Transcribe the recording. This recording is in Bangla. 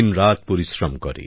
দিনরাত পরিশ্রম করে